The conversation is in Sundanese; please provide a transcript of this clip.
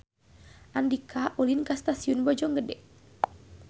Andika ulin ka Stasiun Bojonggede